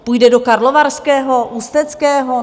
Půjde do Karlovarského, Ústeckého?